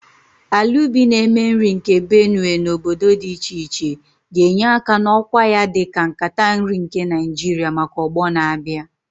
Ala ubi na-eme nri nke Benue na obodo dị iche iche ga-enye aka n'ọkwa ya dị ka "Nkata nri nke Naijiria " maka ọgbọ na-abịa.